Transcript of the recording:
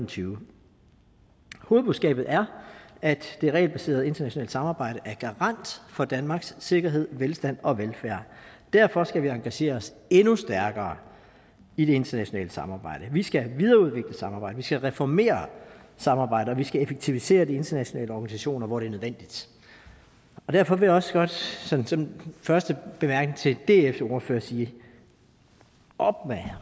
tyve hovedbudskabet er at det regelbaserede internationale samarbejde er garant for danmarks sikkerhed velstand og velfærd derfor skal vi engagere os endnu stærkere i det internationale samarbejde vi skal videreudvikle samarbejdet vi skal reformere samarbejdet og vi skal effektivisere de internationale organisationer hvor det er nødvendigt derfor vil jeg også godt som den første bemærkning til dfs ordfører sige